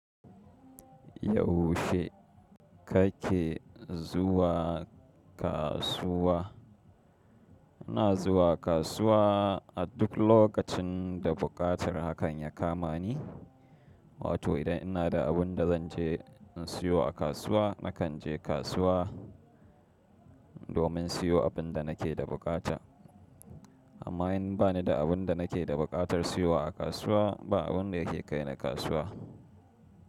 Yaushe kake zuwa kasuwa? Ina zuwa kasuwa a duk lokacin da buƙatar hakan ya kama ni. Wato idan ina da abin da zanje in siyo a kasuwa nakan je kasuwa domin siyo abin da nake da buƙata. Amma in bani da abin da nake da buƙatar siyowa a kasuwa ba abun da yake kai na kasuwa.